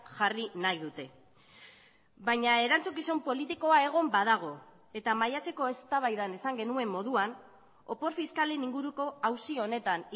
jarri nahi dute baina erantzukizun politikoa egon badago eta maiatzeko eztabaidan esan genuen moduan opor fiskalen inguruko auzi honetan